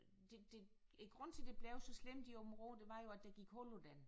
Det det grunden til det blev så slemt i Aabenraa det var jo at der gik hul på den